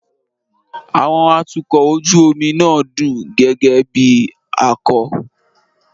Àwọn atukọ̀ ojú omi náà dún gẹ́gẹ́ bí akọ́